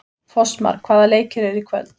Fossmar, hvaða leikir eru í kvöld?